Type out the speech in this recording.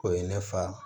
O ye ne fa